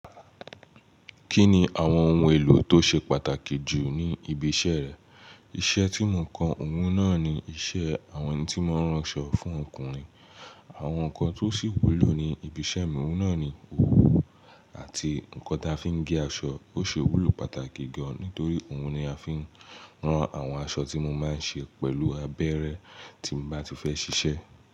Kí ni àwọn ohun èlò tó ṣe pàtàkì jù ní ibi iṣẹ́ rẹ? Iṣẹ́ tí mo ń kọ òun náà ni iṣẹ́ àwọn ẹni tí wọ́n ń rán aṣọ fún ọkùnrin. Àwọn nǹkan tó sì wúlò ní ibi iṣẹ́ mi òun náà ni òwú àti nǹkan tí a fi ń gé aṣọ. Ó ṣe wúlò pàtàkì gan-an nítorí òun ni a fi ń rán àwọn aṣọ tí mo máa ń ṣe pẹ̀lú abẹ́rẹ́ tí mo bá ti fẹ́ ṣiṣẹ́